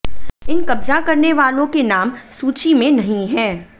इन कब्जा करने वालों के नाम सूची में नहीं हैं